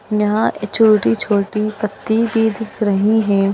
यहां भी छोटी-छोटी पत्ती भी दिख रही हैं।